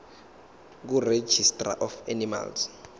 kuregistrar of animals